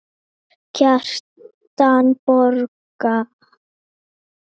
Kjartan Borg.